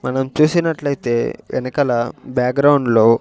మనం చూసినట్లైతే వెనకల బ్యాగ్రౌండ్లో --